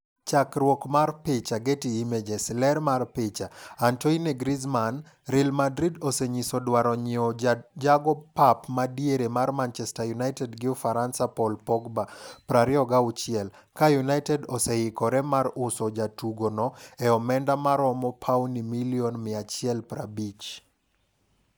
Chakruok mar picha, Getty Images. Ler mar picha, Antoine Griezmann .Real Madrid osenyiso dwaro nyiew jago pap madiere mar Manchester United gi Ufaransa Paul Pogba, 26, ka United osehikore mar uso jatugo no e omenda maromo pauni milioni 150.